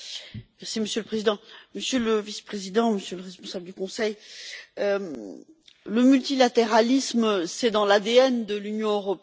Monsieur le Président, Monsieur le vice président, Monsieur le responsable du Conseil, le multilatéralisme, c'est dans l'ADN de l'Union européenne.